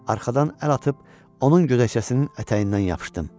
Arxadan əl atıb onun gödəkcəsinin ətəyindən yapışdım.